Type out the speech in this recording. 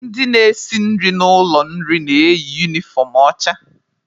Ndị na-esi nri n'ụlọ nri na-eyi unifọm ọcha.